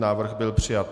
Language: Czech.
Návrh byl přijat.